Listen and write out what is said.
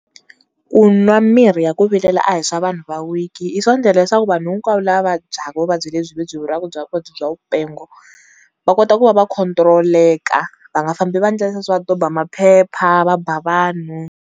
Ku nwa mirhi ya ku vilela a hi swa vanhu va weak, i swo endlela leswaku vanhu hinkwavo lava vabyaku vuvabyi lebyi, byi vuriwaka vuvabyi bya vupengo, va kota ku va va control-eka, va nga fambi va endle leswo va doba maphepha va ba vanhu.